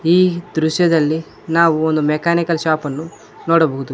ಈ ದೃಶ್ಯದಲ್ಲಿ ನಾವು ಒಂದು ಮೆಕಾನಿಕಲ್ ಶಾಪನ್ನು ನೋಡಬಹುದು.